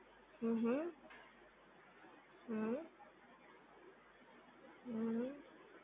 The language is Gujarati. હમ્મ હમ્મ, હમ્મ, હમ્મ હમ્મ